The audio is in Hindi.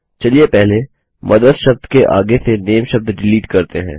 चलिए पहले मदर्स शब्द के आगे से नामे शब्द डिलीट करते हैं